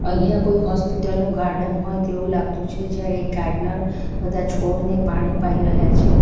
અહીંયા કોઈ હોસ્પિટલ નું ગાર્ડન હોય તેવું લાગતું છે જ્યાં એક ગાર્ડનર બધા છોડને પાણી પાઈ રહ્યા છે.